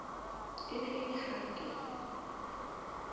e ne e le hake